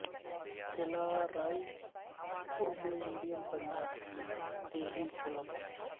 قلعہ Raipur میں Indian Punjab کے دیہی اولمپکس